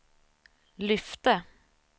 lyfte